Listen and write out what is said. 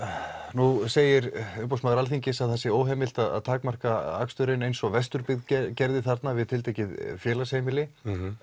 nú segir umboðsmaður Alþingis að það sé óheimilt að takmarka aksturinn eins og Vesturbyggð gerði þarna við tiltekið félagsheimili